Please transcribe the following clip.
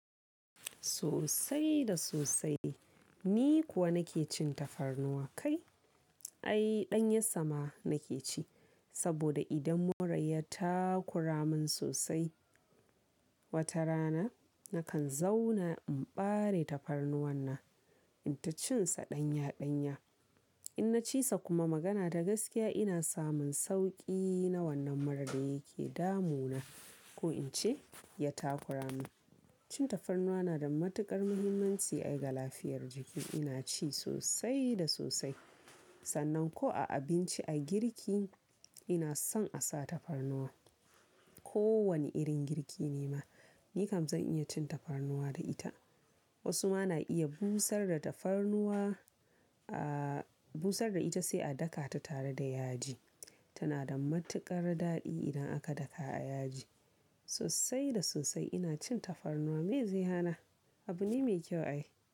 Sosai da sosai. Ni kuwa nake cin tafarnuwa kai. Ai ɗan yassama nake ci. Saboda idan mura ya takura mun sosai wata rana nakan zauna in bare tafarnuwa nan, in ta cin sa ɗanya ɗanya. In na ci sa kuma magana da gaskiya ina samun sauƙi na wannan mura da yake damu na ko in ce ya takura mun. Cin tafarnuwa na da matuƙar muhimmanci ai ga lafiyar jiki. Ina ci sosai da sosai. Sannan ko a abinci a girki ina son a sa tafarnuwa. Ko wane irin girki ne ma, ni kam zan iya cin tafarnuwa da ita. Wasu ma na iya busar da tafarnuwa, aa busar da ita sai a daka ta tare da yaji. Tana da matuƙar daɗi idan aka daka a yaji. Sosai da sosai ina cin tafarnuwa. Me zai hana? Abu ne mai kyau a yi.